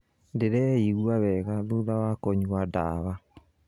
Ndĩreigua wega thutha wa kũnyua dawa